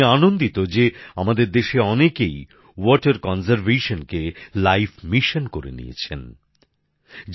আমি আনন্দিত যে আমাদের দেশে অনেকেই জল সংরক্ষণকে জীবনের গুরুত্বপূর্ণ কাজ বলে গ্রহণ করেছেন করে